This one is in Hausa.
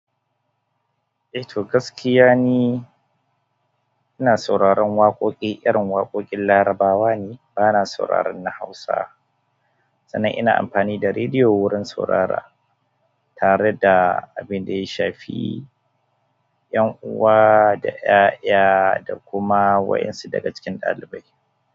Eh to gaskiya ne, ina sauraron waƙoƙi, ƙarin waƙoƙin Larabawa ne, bana sauraron na Hausa. Sannan ina amfani da rediyo wurin saurara tare da abin da ya shafi 'yan'uwa da 'ya'ya da kuma wa'insu daga cikin ɗalibai.